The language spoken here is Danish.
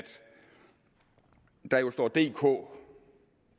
der jo står dk